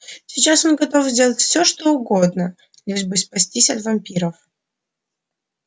сейчас он готов сделать все что угодно лишь бы спастись от вампиров